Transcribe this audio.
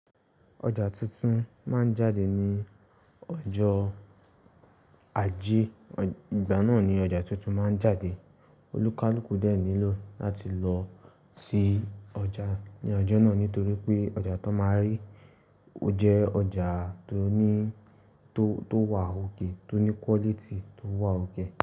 Ọjà tuntun ma ń jáde ní ọjọ́ ajé. Ìgbà náà ni ọjà tuntun ma ń jáde. Olúkálukú dẹ̀ nílò láti lọ sí ọjà ní ọjọ́ náà nítorí pé ọjà tó ma rí ó jẹ́ ọjà tó wà okay tó ní quality tó wà okay.